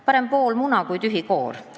Parem pool muna kui tühi koor.